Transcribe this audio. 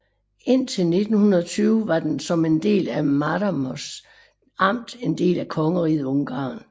Indtil 1920 var den som en del af Máramaros amt en del af Kongeriget Ungarn